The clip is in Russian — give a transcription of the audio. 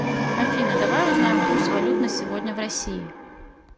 афина давай узнаем курс валют на сегодня в россии